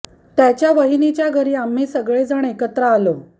त्याच्या वहिनीच्या घरी आम्ही सगळे जण एकत्र आलो